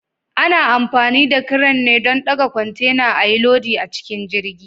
Ana amfani da crane don ɗaga kwantena ayi lodi a cikin jirgi.